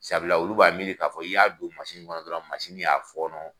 Sabula olu b'a miiri k'a fɔ i y'a don kɔnɔ dɔrɔn y'a fɔɔnɔ.